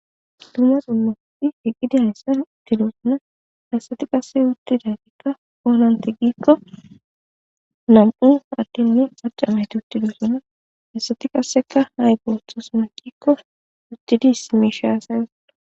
Duma duma asati uttida asati haasayiti namu adene macca nayiti utidosona hayisati ayi othona giki utidi issi misha hasayosona..